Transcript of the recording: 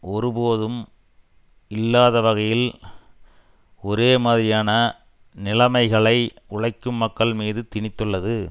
ஒருபோதும் இல்லாத வகையில் ஒரேமாதிரியான நிலைமைகளை உழைக்கும் மக்கள் மீது திணித்துள்ளது